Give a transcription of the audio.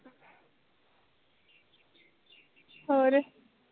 ਹੋਰ